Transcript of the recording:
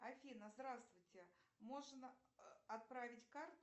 афина здравствуйте можно отправить карту